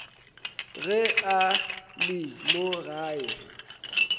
ge a le mo gae